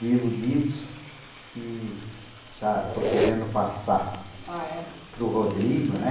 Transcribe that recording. Vivo disso e já estou querendo passar, ah é, para o Rodrigo, né?